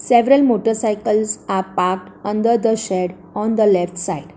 Several motorcycles are park under the shed on the left side.